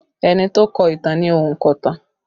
Ẹni tó kọ ìtàn ni ònkọ̀tan